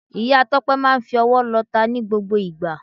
Ìya Tópé máa n fi owó lota ní gbogbo ìgbà